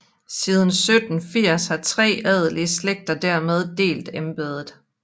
Siden 1780 har tre adelige slægter dermed delt embedet